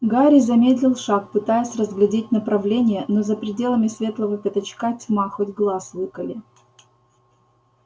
гарри замедлил шаг пытаясь разглядеть направление но за пределами светлого пятачка тьма хоть глаз выколи